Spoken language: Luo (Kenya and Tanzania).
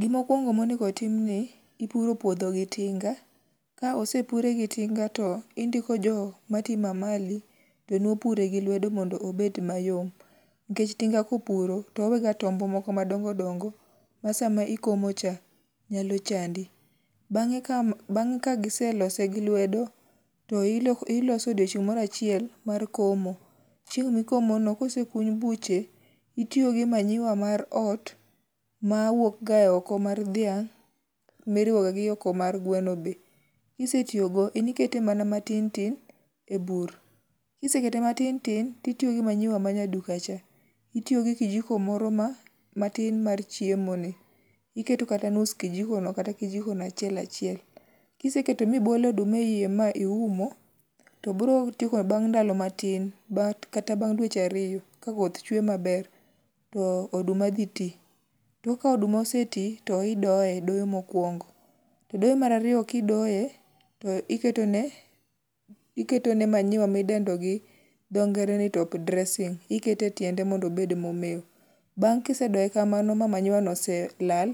Gimokwongo monego timne, ipuro puodho gi tinga, ka osepure gi tinga to indiko jomatimo amali to nuo pure gi lwedo mondo obed mayom nkech tinga kopuro owega tombo moko madongodongo ma sama ikomo cha nyalo chandi. Bang'e ka giselose gi lwedo to iloso odiechieng' moro achiel mar komo, chieng' mikomo no, kosekuny buche, itiyo gi manyiwa mar ot mawuokga e oko mar dhiang' miriwoga gi oko mar gweno be. Kisetiyogo, in ikete mana matintin e bur. Kisekete matintin titiyo gi manyiwa mar nyaduka cha, itiyo gi kijiko moro matin mar chiemoni, iketo kata nus kinjikono kata kijikono achiel achiel. Kiseketo mibole oduma e iye ma iumo to brotieko bang' ndalo matin kata bang' dweche ariyo ka koth chwe maber to oduma dhio ti. Tok ka oduma oseti to idoye doyo mokwongo to doyo mar ariyo kidoye to iketone manyiwa midendo gi dho ngere ni top dressing, ikete tiende mondo obed momew. Bng' kisedoye kamano ma manyiwano oselal,